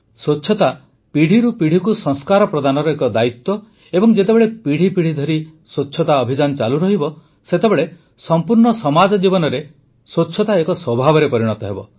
ସ୍ୱଚ୍ଛତା ପିଢ଼ିରୁ ପିଢ଼ିକୁ ସଂସ୍କାର ପ୍ରଦାନର ଏକ ଦାୟିତ୍ୱ ଏବଂ ଯେତେବେଳେ ପିଢ଼ି ପିଢ଼ି ଧରି ସ୍ୱଚ୍ଛତା ଅଭିଯାନ ଚାଲୁରହିବ ସେତେବେଳେ ସମ୍ପୂର୍ଣ୍ଣ ସମାଜ ଜୀବନରେ ସ୍ୱଚ୍ଛତା ଏକ ସ୍ୱଭାବରେ ପରିଣତ ହେବ